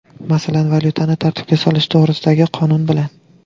Masalan, valyutani tartibga solish to‘g‘risidagi qonun bilan.